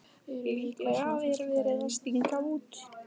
Líklega er verið að stinga út.